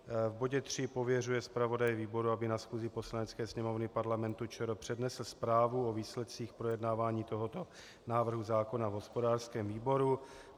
V bodě 3 pověřuje zpravodaje výboru, aby na schůzi Poslanecké sněmovny Parlamentu ČR přednesl zprávu o výsledcích projednávání tohoto návrhu zákona v hospodářském výboru.